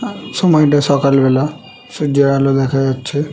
আ সময়টা সকাল বেলা সূর্যের আলো দেখা যাচ্ছে।